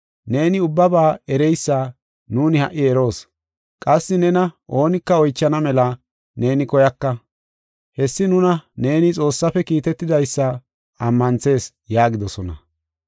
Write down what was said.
Neeni ubbaba ereysa nuuni ha77i eroos; qassi nena oonika oychana mela neeni koyaka. Hessi nuna neeni Xoossafe kiitetidaysa ammanthees” yaagidosona.